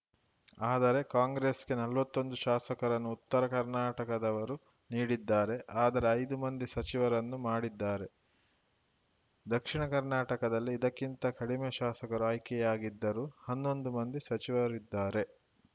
ಆದರೆ ಕಾಂಗ್ರೆಸ್‌ಗೆ ನಲ್ವತ್ತೊಂದು ಶಾಸಕರನ್ನು ಉತ್ತರ ಕರ್ನಾಟಕದವರು ನೀಡಿದ್ದಾರೆ ಆದರೆ ಐದು ಮಂದಿ ಸಚಿವರನ್ನು ಮಾಡಿದ್ದಾರೆ ದಕ್ಷಿಣ ಕರ್ನಾಟಕದಲ್ಲಿ ಇದಕ್ಕಿಂತ ಕಡಿಮೆ ಶಾಸಕರು ಆಯ್ಕೆಯಾಗಿದ್ದರೂ ಹನ್ನೊಂದು ಮಂದಿ ಸಚಿವರಿದ್ದಾರೆ